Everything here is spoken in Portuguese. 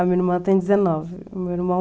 A minha irmã tem dezenove, o meu irmão